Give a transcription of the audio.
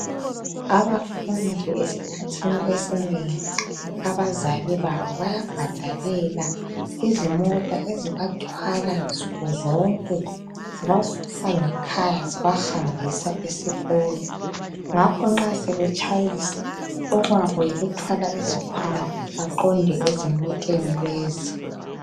Abafundi esikhathini esinengi abazali babo bayabhadalela izimota ezibathwala nsukuzonke zibasusa ngekhaya zibahambisa esikolo. Ngakho nxa sebetshayisa okwabo yikuthwala izikhwama baqonde ezimoteni lezi.